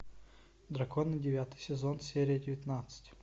драконы девятый сезон серия девятнадцать